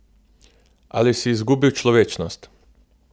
Ali si izgubil človečnost?